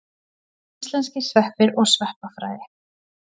Íslenskir sveppir og sveppafræði.